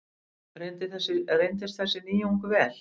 Reyndist þessi nýjung vel.